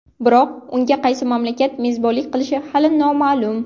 Biroq unga qaysi mamlakat mezbonlik qilishi hali noma’lum.